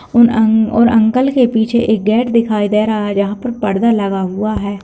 और अंग और अंकल के पीछे एक गेट दिखाई दे रहा है जहाँ पर पर्दा लगा हुआ है।